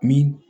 Ni